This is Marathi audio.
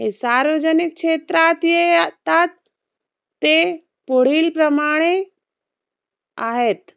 हे सार्वजनिक क्षेत्रात ये आतात ते पुढीलप्रमाणे आहेत.